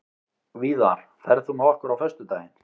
Víðar, ferð þú með okkur á föstudaginn?